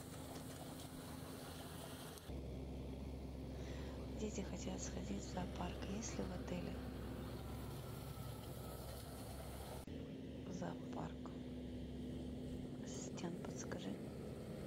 дети хотят сходить в зоопарк есть ли в отеле зоопарк ассистент подскажи